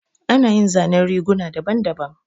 Ana yin zanen riguna daban daban